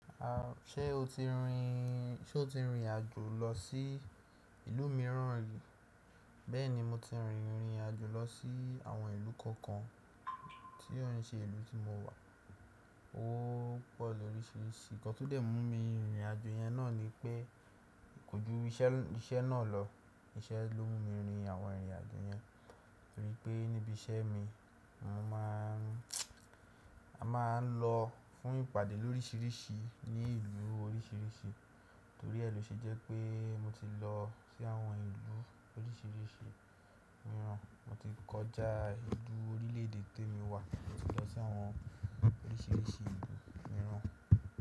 Ṣé o ti rìnrìn, ṣe o ti rìnrìn àjò lọ sí ìlú mìíràn rí? Bẹ́ẹ̀ni mo ti rìnrìn àjò lọ sí àwọn ìlú kọ̀ọ̀kan tí ó ń ṣe ìlú tí mo wà. Ó pọ̀ lóríṣiríṣi, ǹkan tó dẹ̀ mú mi rìnrìn àjò yẹn náà ni pé kójú iṣẹ́ náà lọ, iṣẹ́ ló mú mi rìnrìn àwọn ìrìn àjò yẹn. Torí pé níbi iṣẹ́ mi, mo máa ń, a máa ń lọ fún ìpàdé lóríṣiríṣi ní ìlú oríṣiríṣi, torí ẹ́ lọ ṣe jẹ́ pé mo ti lọ sí àwọn ìlú oríṣiríṣi mìíràn, mo ti kọjá ìlú orílẹ̀ èdè tí èmi wà, mo ti lọ sí àwọn oríṣiríṣi ìlú mìíràn.